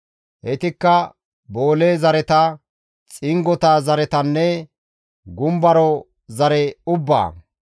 Heytikka boole zareta, xingota zaretanne gumbaro zare ubbaa.